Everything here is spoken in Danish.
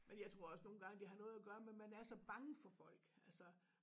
Men jeg tror også nogle gange det har noget at gøre med man er så bange for folk altså